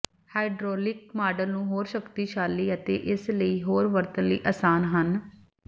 hydraulic model ਨੂੰ ਹੋਰ ਸ਼ਕਤੀਸ਼ਾਲੀ ਅਤੇ ਇਸ ਲਈ ਹੋਰ ਵਰਤਣ ਲਈ ਆਸਾਨ ਹਨ